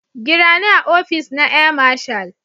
gira ni a opice na Air marshal.